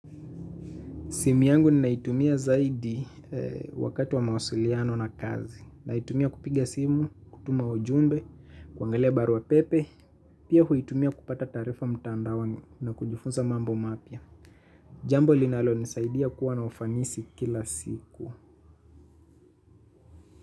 Simu yangu ninaitumia zaidi wakati wa mawasiliano na kazi. Naitumia kupiga simu, kutuma ujumbe, kuangalia barua pepe. Pia huitumia kupata taarifa mtandaoni na kujifunza mambo mapya. Jambo linalonisaidia kuwa na ufanisi kila siku.